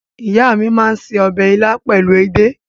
Ìyá mi máa ń se ọbẹ̀ ilá pẹ̀lú edé.